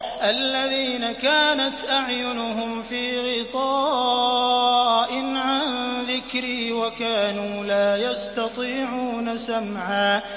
الَّذِينَ كَانَتْ أَعْيُنُهُمْ فِي غِطَاءٍ عَن ذِكْرِي وَكَانُوا لَا يَسْتَطِيعُونَ سَمْعًا